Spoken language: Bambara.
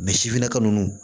sifinnaka ninnu